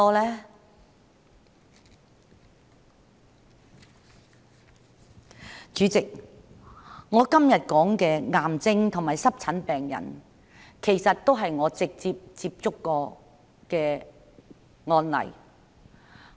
代理主席，我今天說的癌症和濕疹病人，其實都是我直接接觸過的案例。